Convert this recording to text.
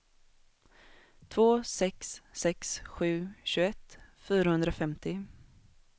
två sex sex sju tjugoett fyrahundrafemtio